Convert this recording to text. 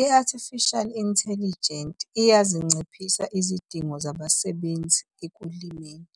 I-Artificial Intelligent, iyazinciphisa izidingo zabasebenzi ekulimeni.